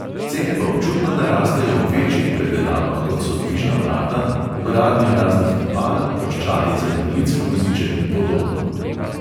Cene pa občutno narastejo ob večjih predelavah, kot so dvižna vrata, vgradnja raznih tipal, ploščadi za invalidski voziček in podobno.